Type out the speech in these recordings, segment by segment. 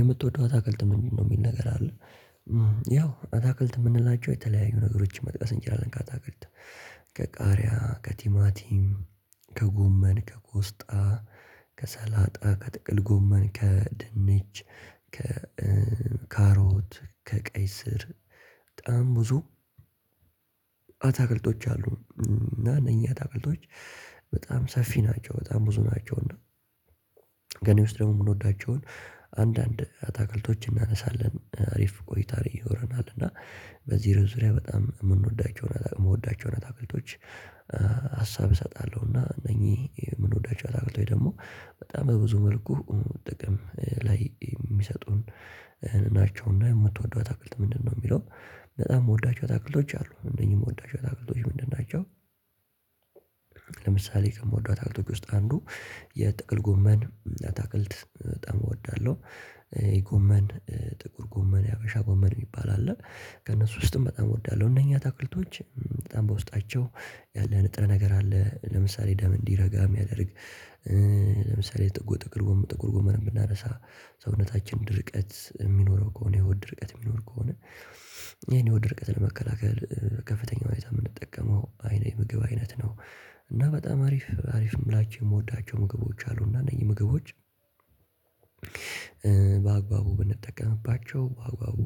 የምትወደው አታክልት ምንድነው? የሚል ነገር አለ ያው አታክልት የምንላቸው የተለያዩ ነገሮችን መጥቀስ እንችላለን። ከአታክልት ከቃሪያ ከቲማቲም ከጉመን ከጎስጣ ከሰላጣ ከጥቅል ጎመን ከድንች ከካሮት ከቀይ ስር በጣም ብዙ አታክልቶች አሉ እና እኛ አታክልቶች በጣም ሰፊ ናቸው በጣም ብዙ ናቸው። እና ገኔ ውስጥ ደግሞ የምንወዳቸውን አንዳንድ አታክልቶችን እናነሳለን አሪፍ ቆይታ ይኖረናል። እና በዚህ ርዕስ ዙሪያ በጣም የምንወዳቸውን የምወዳቸውን አታክልቶች ሀሳብ እሰጣለሁና እነኚህ የምንወዳቸው አታክልቶች ደግሞ በጣም በብዙ መልኩ ጥቅም ላይ የሚሰጡን ናቸውና። የምትወደው አታክልት ምንድነው የሚለው? በጣም የምወዳቸው አታክልቶች አሉ እነዚህ የምወዳቸው አታክልቶች ምንድን ናቸው? ለምሳሌ ከምወዷት አታክልቶች ውስጥ አንዱ የጥቅል ጎመን አታክልት በጣም እወዳለሁ። የጎመን ጥቁር ጎመን የሀገሻ ጎመን የሚባል አለ ከእነሱ ውስጥም በጣም እወዳለሁ እነኛ አታክልቶች በጣም በውስጣቸው ያለ ንጥረ ነገር አለ ለምሳሌ ደም እንዲረጋ የሚያደርግ ለምሳሌ ጥቁር ጥቅል ጉመን ብናነሳ ሰውነታችን ድርቀት የሚኖረው ከሆነ የሆድ ድርቀት የሚኖር ከሆነ ይህን የሆድ ድርቀት ለመከላከል ከፍተኛ ሁኔታ የምንጠቀመው አይኔነት ምግብ አይነት ነው። እና በጣም አሪፍ አሪፍ ምላቸው የምወዳቸው ምግቦች አሉ እና እነዚህ ምግቦች በአግባቡ ብንጠቀምባቸው በአግባቡ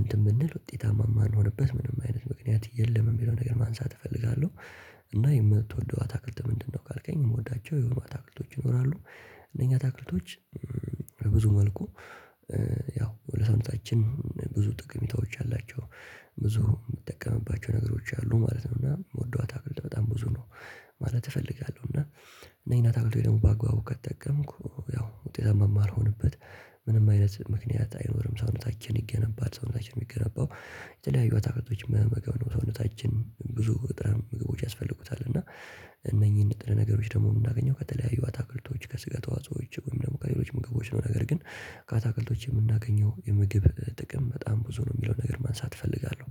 እንትን ብንል ውጤታማ ማንሆንበት ምንም አይነት ምክንያት የለም የሚለው ነገር ማንሳት እፈልጋለሁ። እና የምትወደው አታክልት ምንድነው ካልከኝ የምወዳቸው የሆኑ አታክልቶች ይኖራሉ። እነኛ አታክልቶች በብዙ መልኩ ያው ለሰውነታችን ብዙ ጥቅሜታዎች አላቸው ብዙ የምጠቀምባቸው ነገሮች አሉ ማለት ነው። እና የምወደው አታክልት በጣም ብዙ ነው። ማለት እፈልጋለሁ እና እነኝን አታክልት ደግሞ በአግባቡ ከተጠቀምኩ ያው ውጤታማ ማልሆንበት ምንም አይነት ምክንያት አይኖርም። ሰውነታችን ይገነባል ሰውነታችን የሚገነባው የተለያዩ አታክልቶች በመመገብ ነው ሰውነታችን ብዙ ንጥረ ምግቦች ያስፈልጉታል እና እነኚህን ንጥረ ነገሮች ደግሞ የምናገኘው ከተለያዩ አታክልቶች ከስጋ ተዋጽኦዎች ወይም ደግሞ ከሌሎች ምግቦች ነው። ነገር ግን ከአታክልቶች የምናገኘው የምግብ ጥቅም በጣም ብዙ ነው የሚለውን ነገር ማንሳት እፈልጋለሁ።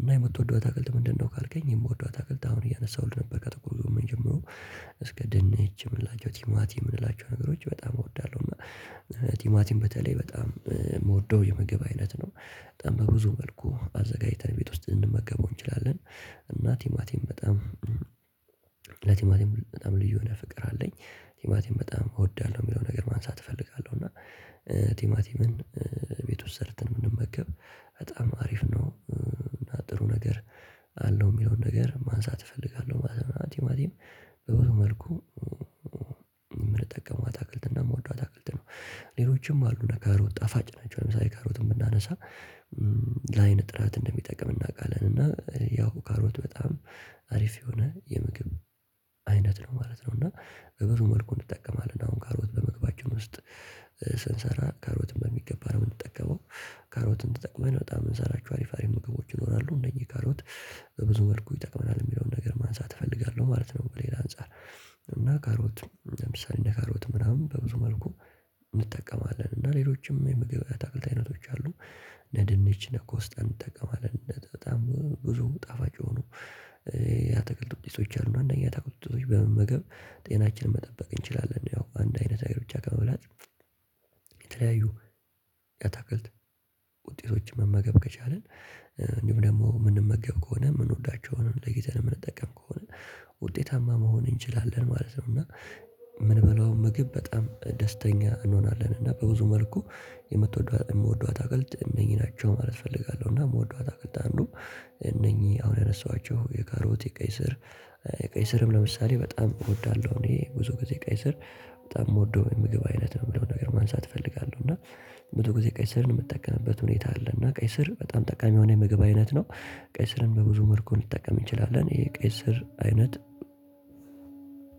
እና የምትወደው አታክልት ምንድነው ካልከኝ የምወደው አታክልት አሁን እያነሳሁልህ ነበር ከጥቅል ጎመን ጀምሮ እስከ ድንች የምንላቸው ቲማቲ የምንላቸው ነገሮች በጣም እወዳለሁ እና ቲማቲን በተለይ በጣም የምወደው የምግብ አይነት ነው። በጣም በብዙ መልኩ አዘጋጅተን ቤት ውስጥ ልንመገበው እንችላለን። እና ቲማቲም በጣም ለቲማቲም በጣም ልዩ የሆነ ፍቅር አለኝ። ቲማቲም በጣም እወዳለሁ የሚለው ነገር ማንሳት እፈልጋለሁ እና ቲማቲምን ቤት ውስጥ ሰርተን ብንመገብ በጣም አሪፍ ነው እና ጥሩ ነገር አለው የሚለውን ነገር ማንሳት እፈልጋለሁ ማለት ነው። ቲማቲም በብዙ መልኩ የምንጠቀመው አታክልት እና የምወደው አታክልት ነው። ሌሎችም አሉ ካሮት ጣፋጭ ናቸው ለምሳሌ ካሮትን ብናነሳ ለአይን ጥራት እንደሚጠቅም እናውቃለን እና ያው ካሮት በጣም አሪፍ የሆነ የምግብ አይነት ነው ማለት ነው። እና በብዙ መልኩ እንጠቀማለን አሁን ካሮት በምግባችን ውስጥ ስንሰራ ካሮትም በሚገባ ነው የምንጠቀመው ካሮትን ተጠቅመን በጣም ምንሰራችሁ አሪፍ አሪፍ ምግቦች ይኖራሉ እነኝህ ካሮት በብዙ መልኩ ይጠቅመናል የሚለውን ነገር ማንሳት እፈልጋለሁ ማለት ነው። በሌላ አንፃር እና ካሮት ለምሳሌ እንደ ካሮት ምናምን በብዙ መልኩ እንጠቀማለን እና ሌሎችም የምግብ አትክልት አይነቶች አሉ። እነ ድንች እነ ቆስጠን እንጠቀማለን በጣም ብዙ ጣፋጭ የሆኖ ያአታክልት ውጤቶች አሉ እነኝን የአታክልት ውጤቶች በመመገብ ጤናችንን መጠበቅ እንችላለን። ያው አንድ አይነት ነገር ብቻ ከመብላት የተለያዩ የአታክል ውጤቶችን መመገብ ከቻልን እንዲሁም ደግሞ የምንመገብ ከሆነ የምንወዳቸውን ለይተን የምንጠቀም ከሆነ ውጤታማ መሆን እንችላለን ማለት ነው። እና ምንበለው ምግብ በጣም ደስተኛ እንሆናለን እና በብዙ መልኩ የምትወደው የምትወደው አታክልት እነኝ ናቸው ማለት እፈልጋለሁ። እና የምወደው አታክልት አንዱ እነኚህ አሁን ያነሳኋቸው የካሮቲ የቀይ ስር ቀይ ስርም ለምሳሌ በጣም እወዳለሁ እኔ ብዙ ጊዜ ቀይ ስር በጣም የምወደው የምግብ አይነት ነው። የምለውንም ነገር ማንሳት እፈልጋለሁ እና መቶ ጊዜ ቀይ ስር የምጠቀምበት ሁኔታ አለ። እና ቀይ ስር በጣም ጠቃሚ የሆነ የምግብ አይነት ነው። ቀይ ስርን በብዙ መልኩ ልጠቀም እንችላለን ይሄ ቀይ ስር አይነት